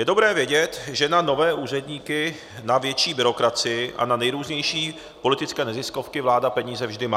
Je dobré vědět, že na nové úředníky, na větší byrokracii a na nejrůznější politické neziskovky vláda peníze vždy má.